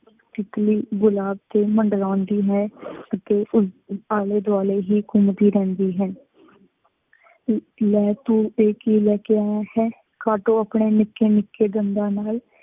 ਤਿੱਤਲੀ ਗੁਲਾਬ ਤੇ ਮੰਡਰਾਉਂਦੀ ਹੈ ਅਤੇ ਉਸਦੇ ਆਲੇ ਦੁਆਲੇ ਹੀ ਘੁੰਮਦੀ ਰਹਿੰਦੀ ਹੈ। ਲੈ ਤੂੰ ਤੇ ਕੀ ਲੈ ਕੇ ਆਇਆ ਹੈ, ਕਾਟੋ ਆਪਣੇ ਨਿੱਕੇ ਨਿੱਕੇ ਦੰਦਾਂ ਨਾਲ, ਨਾਲ,